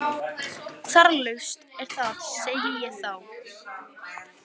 Þarflaust er það, segi ég þá.